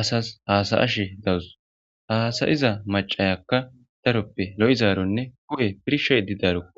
asas haasayashe dawus haasayiza macayakka daroppe lo7izaaronne ku7e pirshadi daaroo